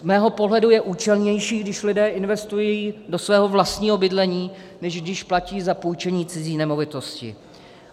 Z mého pohledu je účelnější, když lidé investují do svého vlastního bydlení, než když platí za půjčení cizí nemovitosti.